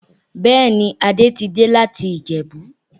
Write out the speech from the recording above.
Bẹ́ẹ̀ ni, Adé ti dé láti Ìjẹ̀bú.